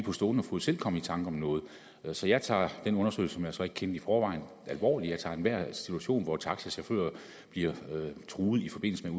på stående fod selv komme i tanker om noget så jeg tager den undersøgelse som jeg så ikke kendte i forvejen alvorligt jeg tager enhver situation hvor taxachauffører bliver truet i forbindelse med